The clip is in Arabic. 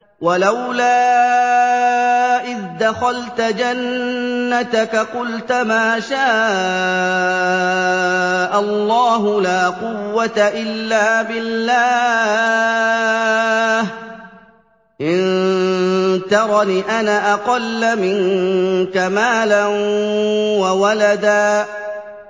وَلَوْلَا إِذْ دَخَلْتَ جَنَّتَكَ قُلْتَ مَا شَاءَ اللَّهُ لَا قُوَّةَ إِلَّا بِاللَّهِ ۚ إِن تَرَنِ أَنَا أَقَلَّ مِنكَ مَالًا وَوَلَدًا